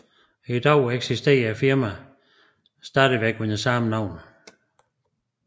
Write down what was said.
I dag eksisterer firmaet stadig under samme navn